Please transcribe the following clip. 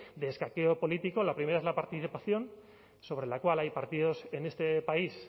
de escaqueo político la primera es la participación sobre la cual hay partidos en este país